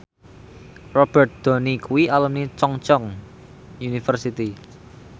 Robert Downey kuwi alumni Chungceong University